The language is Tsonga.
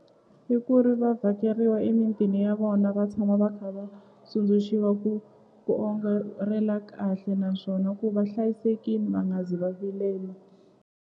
I ku ri va vhakeriwa emitini ya vona va tshama va kha va tsundzuxiwa ku ku kahle naswona ku va hlayisekini va nga zi va vilela.